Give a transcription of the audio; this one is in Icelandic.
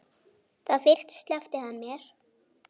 Þá fyrst sleppti hann mér.